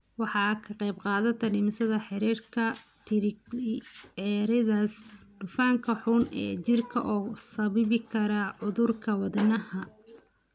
Waxay ka qaybqaadataa dhimista heerarka triglycerides, dufanka xun ee jirka oo sababi kara cudurrada wadnaha.